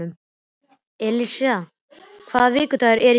Sessilía, hvaða vikudagur er í dag?